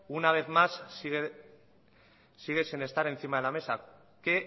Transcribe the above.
una vez más sigue sin estar encima de la mesa qué